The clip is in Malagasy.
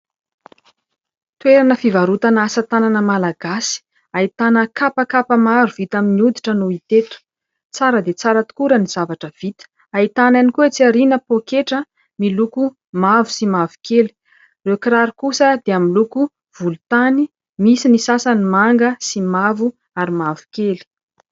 Toerana fivarotana asa tanana Malagasy ahitana kapakapa maro vita amin'ny hoditra no ita eto. Tsara dia tsara tokoa raha ny zavatra vita. Ahitana ihany koa atsy aoriana poketra miloko mavo sy mavo kely, ireo kiraro kosa dia miloko volontany, misy ny sasany manga sy mavo ary mavokely.